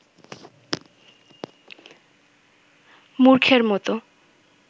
মূর্খের মতো